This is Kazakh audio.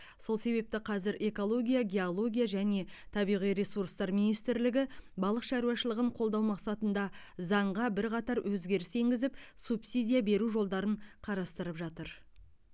сол себепті қазір экология геология және табиғи ресурстар министрлігі балық шаруашылығын қолдау мақсатында заңға бірқатар өзгеріс енгізіп субсидия беру жолдарын қарастырып жатыр